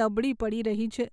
નબળી પડી રહી છે.